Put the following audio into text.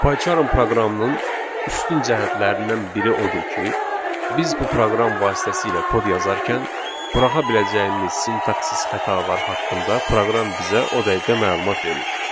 Pycharm proqramının üstün cəhətlərindən biri odur ki, biz bu proqram vasitəsilə kod yazarkən buraxa biləcəyimiz sintaksis xətalar haqqında proqram bizə o dəqiqə məlumat verir.